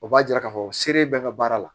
O b'a jira k'a fɔ selen bɛɛ ka baara la